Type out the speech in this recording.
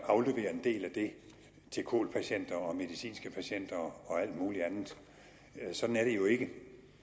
aflevere en del af det til kol patienter og medicinske patienter og alt muligt andet sådan er det jo ikke